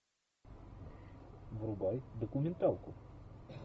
врубай документалку